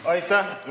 Aitäh!